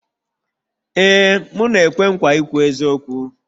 Ee m na-ekwe nkwa ikwu eziokwu